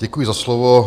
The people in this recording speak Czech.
Děkuji za slovo.